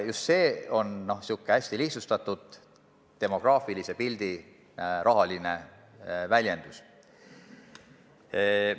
Just see on selline hästi lihtsustatud demograafilise pildi rahaline väljendus.